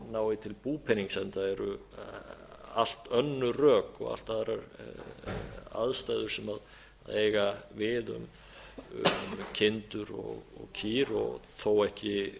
nái til búpenings enda eru allt önnur rök og allt aðrar aðstæður sem eiga við um kindur og kýr og þó ekki